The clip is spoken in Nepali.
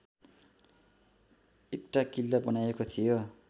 एटाँ किल्ला बनाइएको थियो